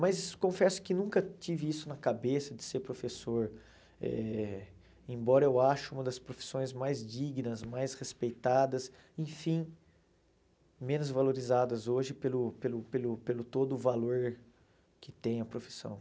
Mas confesso que nunca tive isso na cabeça de ser professor, eh embora eu ache uma das profissões mais dignas, mais respeitadas, enfim, menos valorizadas hoje pelo pelo pelo pelo todo o valor que tem a profissão.